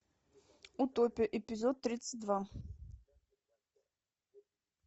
утопия эпизод тридцать два